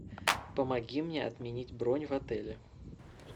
помоги мне отменить бронь в отеле